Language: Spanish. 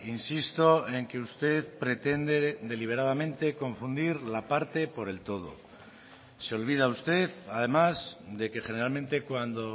insisto en que usted pretende deliberadamente confundir la parte por el todo se olvida usted además de que generalmente cuando